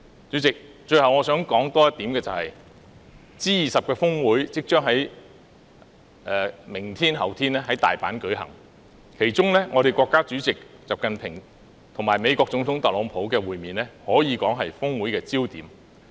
主席，最後我想再說出一點 ，G20 峰會將於明天及後天在大阪舉行，其中國家主席習近平與美國總統特朗普的會面可說是峰會的焦點。